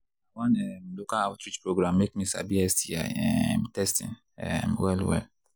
na one um local outreach program make me sabi sti um testing um well well